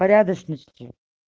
порядочности